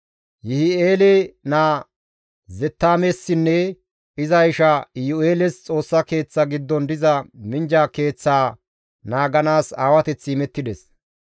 Yihi7eele naa Zettaamessinne iza isha Iyu7eeles Xoossa Keeththa giddon diza minjja keeththaa naaganaas aawateththi imettides.